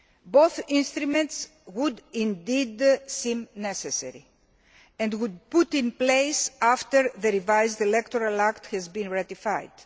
Both instruments would indeed seem necessary and would be put in place after the revised electoral act has been ratified.